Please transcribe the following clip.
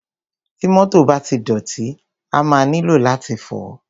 Ti mọ́tọ̀ bá ti dọ̀tí, a máa nílò láti fọ̀ọ́.